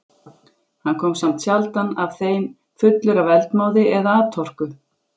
Hann kom samt sjaldan af þeim fullur af eldmóði eða atorku.